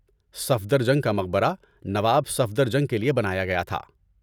صفدرجنگ کا مقبرہ نواب صفدرجنگ کے لیے بنایا گیا تھا۔